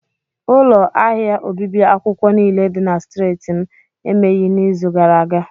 Ụlọ ahịa obibi akwụkwọ niile dị na streeti m emegheghị n'izu gara aga.